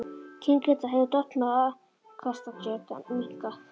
Kyngeta hefur dofnað og afkastagetan minnkað.